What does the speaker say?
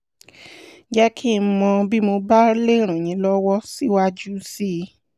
jẹ́ kí n mọ̀ bí mo bá lè ràn yín lọ́wọ́ síwájú sí i